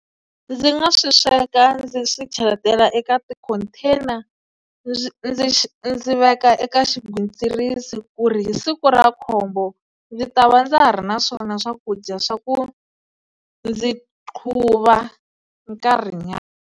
Ndzi nga swi sweka ndzi swi cheletela eka ti-contain-a ndzi ndzi ndzi veka eka xigwitsirisi ku ri hi siku ra khombo ndzi ta va ndza ha ri na swona swakudya swa ku ndzi qhuva nkarhinyana.